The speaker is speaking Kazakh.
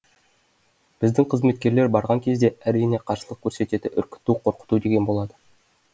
біздің қызметкерлер барған кезде әрине қарсылық көрсетеді үркіту қорқыту деген болады